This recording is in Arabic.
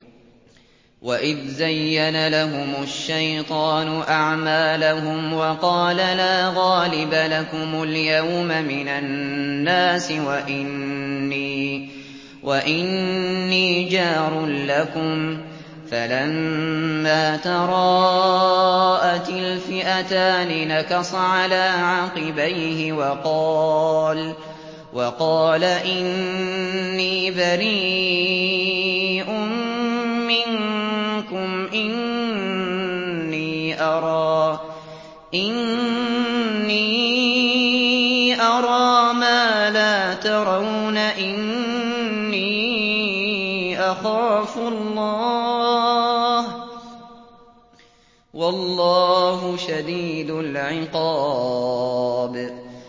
وَإِذْ زَيَّنَ لَهُمُ الشَّيْطَانُ أَعْمَالَهُمْ وَقَالَ لَا غَالِبَ لَكُمُ الْيَوْمَ مِنَ النَّاسِ وَإِنِّي جَارٌ لَّكُمْ ۖ فَلَمَّا تَرَاءَتِ الْفِئَتَانِ نَكَصَ عَلَىٰ عَقِبَيْهِ وَقَالَ إِنِّي بَرِيءٌ مِّنكُمْ إِنِّي أَرَىٰ مَا لَا تَرَوْنَ إِنِّي أَخَافُ اللَّهَ ۚ وَاللَّهُ شَدِيدُ الْعِقَابِ